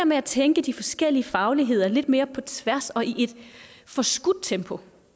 med at tænke de forskellige fagligheder lidt mere på tværs og i et forskudt tempo